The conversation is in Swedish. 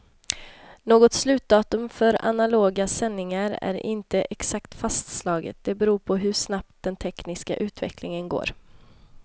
Något slutdatum för analoga sändningar är inte exakt fastslaget, det beror på hur snabbt den tekniska utvecklingen går.